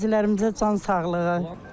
Qazilərimizə can sağlığı.